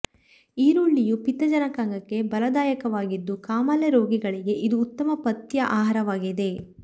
ಈರುಳ್ಳಿಯು ಪಿತ್ತ ಜನಕಾಂಗಕ್ಕೆ ಬಲದಾಯಕವಾಗಿದ್ದು ಕಾಮಾಲೆ ರೋಗಿಗಳಿಗೆ ಇದು ಉತ್ತಮ ಪಥ್ಯ ಆಹಾರವಾಗಿದೆ